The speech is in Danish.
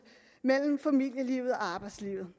mellem familielivet og arbejdslivet